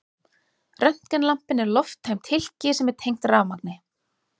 Röntgenlampinn er lofttæmt hylki sem er tengt rafmagni.